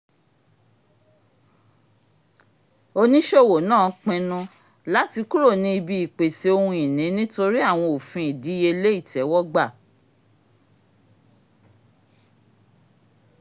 oníṣòwò náà pinnu lati kúrò ni ìbí ìpèsè ohun-ìní nítorí àwọn òfin ìdíyelé itẹwọgbà